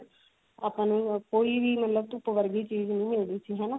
ਆਪਾਂ ਨੂੰ ਕੋਈ ਵੀ ਮਤਲਬ ਧੁੱਪ ਵਰਗੀ ਚੀਜ਼ ਨਹੀ ਮਿਲਦੀ ਸੀ